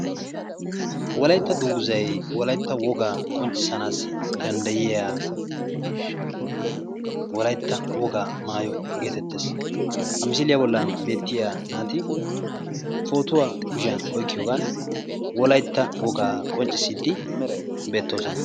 Wolaytta dungguzzayi wolaytta wogaabqonccissanaassi danddayiya wolaytta wogaa maayo geetettes. Ha misiliya bollan beettiya naati pootuwa kushiyan oykkiyogan wolaytta wogaa qonccissiiddi beettoosona.